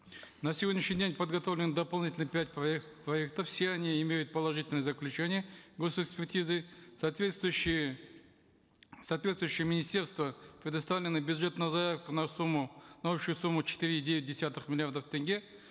на сегодняшний день подготовлены дополнительно пять проектов все они имеют положительные заключения госэкспертизы соответствующие в соответствующие министерства предоставлен бюджет на заявку на сумму на общую сумму четыре и девять десятых миллиардов тенге